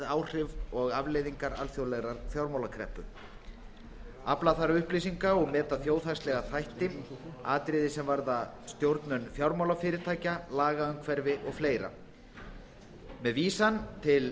áhrif og afleiðingar alþjóðlegrar fjármálakreppu afla þarf upplýsinga um og meta þjóðhagslega þætti atriði sem varða stjórnun fjármálafyrirtækja lagaumhverfi og fleira með vísan til